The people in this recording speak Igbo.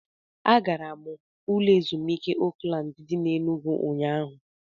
Agara m ụlọ ezumuike Oakland dị n'Enugwu ụnyahụ